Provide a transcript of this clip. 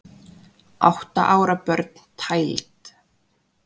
Átta ára börn tæld